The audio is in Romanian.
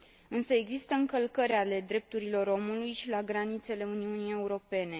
Însă există încălcări ale drepturilor omului și la granițele Uniunii Europene.